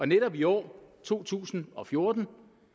netop i år to tusind og fjorten